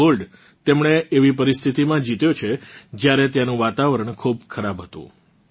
આ ગોલ્ડ તેમણે એવી પરીસ્થિતીમાં જીત્યો છે જ્યારે ત્યાંનું વાતાવરણ ખૂબ ખરાબ હતું